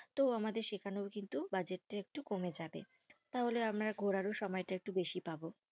তো আমাদের সেখানেও কিন্তু budget টা একটু কমে যাবে, তাহলে আমার ঘোরার সময় তা একটু বেশি পাবো।